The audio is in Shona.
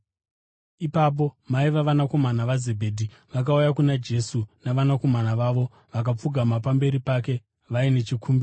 Ipapo mai vavanakomana vaZebhedhi vakauya kuna Jesu navanakomana vavo, vakapfugama pamberi pake vaine chikumbiro.